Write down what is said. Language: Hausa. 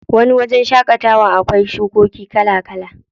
Wani wajen shaƙatawan akwai shukoki kala kala.